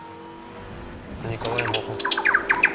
николай мохов